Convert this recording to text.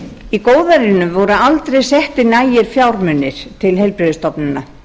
í góðærinu voru aldrei settir nægir fjármunir til heilbrigðisstofnana